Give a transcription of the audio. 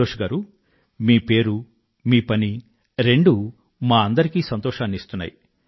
సంతోష్ గారూ మీ పేరు మీ పని రెండూ మా అందరికీ సంతోషాన్ని ఇస్తున్నాయి